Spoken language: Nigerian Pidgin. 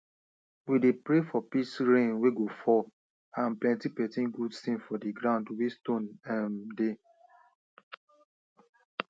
we dey pray for peace rain wey go fall and plenty plenty good tins for di ground wey stone um dey